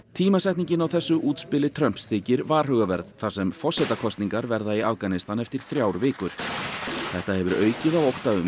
tímasetningin á þessu útspili Trumps þykir varhugaverð þar sem forsetakosningar verða í Afganistan eftir þrjár vikur þetta hefur aukið á ótta um